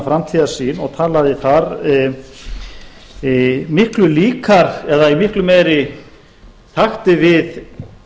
framtíðarsýn og talaði þar miklu líkar eða í miklu meira takti við